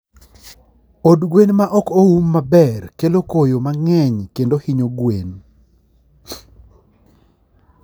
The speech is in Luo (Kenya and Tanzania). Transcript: Od gwen ma ok oum maber kelo koyo mang'eny kendo hinyo gweno.